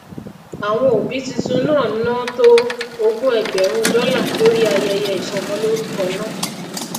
àwọn òbí titun náà ná tó ógún ẹgbèrún dólà lórí ayeye ìsọmólórukọ náà